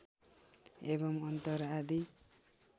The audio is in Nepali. एवं अत्तर आदि